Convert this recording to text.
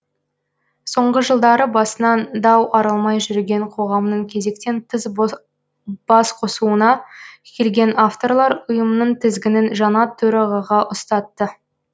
соңғы жылдары басынан дау арылмай жүрген қоғамның кезектен тыс басқосуына келген авторлар ұйымның тізгінін жаңа төрағаға ұстатты